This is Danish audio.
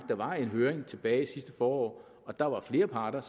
der var en høring sidste forår og der var flere parter